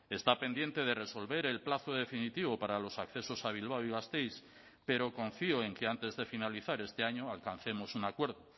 está pendiente de resolver el plazo definitivo para los accesos a bilbao y gasteiz pero confío en que antes de finalizar este año alcancemos un acuerdo